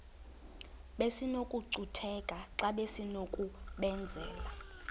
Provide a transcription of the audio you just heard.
besinokucutheka xa besinokubenzela